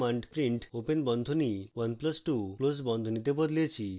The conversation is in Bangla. আমরা command print 1 plus 2 তে বদলেছি এখন enter টিপুন